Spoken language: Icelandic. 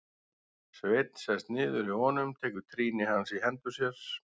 Sveinn sest niður hjá honum, tekur trýni hans í hendur sér.